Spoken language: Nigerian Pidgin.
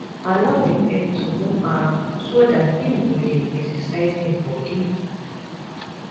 allow di pet to move around so dat im go dey exercise im body